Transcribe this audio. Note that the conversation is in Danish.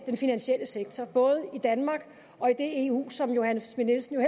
den finansielle sektor både i danmark og i det eu som fru johanne schmidt nielsen jo